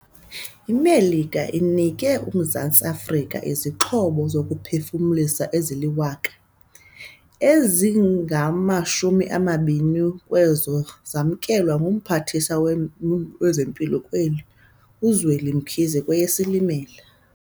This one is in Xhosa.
IMelika inike uMzantsi Afrika izixhobo zokuphefumlisa ezili-1 000, ezingama-20 kwezo zamkelwa nguMphathiswa wezeMpilo kweli uZweli Mkhize kweyeSilimela.